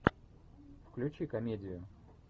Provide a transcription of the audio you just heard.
включи комедию